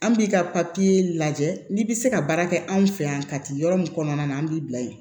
An b'i ka papiye lajɛ n'i bɛ se ka baara kɛ anw fɛ yan ka ti yɔrɔ min kɔnɔna na an b'i bila yen